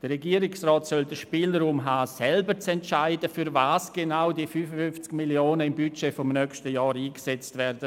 Der Regierungsrat soll über den Spielraum verfügen, um selber entscheiden zu können, wozu genau die 55 Mio. Franken im Budget des nächsten Jahres eingesetzt werden.